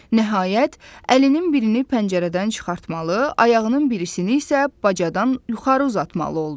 Nəhayət, əlinin birini pəncərədən çıxartmalı, ayağının birisini isə bacadan yuxarı uzatmalı oldu.